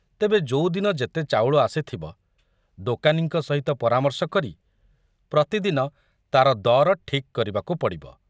ତେବେ ଯୋଉଦିନ ଯେତେ ଚାଉଳ ଆସିଥବ, ଦୋକାନୀଙ୍କ ସହିତ ପରାମର୍ଶ କରି ପ୍ରତିଦିନ ତାର ଦର ଠିକ କରିବାକୁ ପଡ଼ିବ।